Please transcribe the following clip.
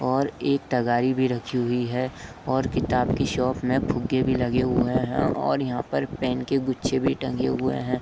और एक तगारी भी रखी हुई है और किताब के शॉप में फुग्गे भी लगे हुए हैं और यहाँ पर पेन के गुच्छे भी टंगे हुए हैं।